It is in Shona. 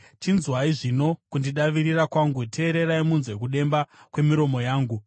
Chinzwai zvino kuzvidavirira kwangu; teererai munzwe kudemba kwemiromo yangu.